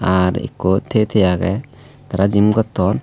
ar ekko tiye tiye agey tara jim gotton.